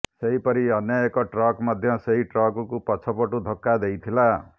ସେହିପରି ଅନ୍ୟଏକ ଟ୍ରକ ମଧ୍ୟ ସେହି ଟ୍ରକକୁ ପଛପଟୁ ଧକ୍କା ଦେଇଥିଲା